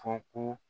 Fɔ ko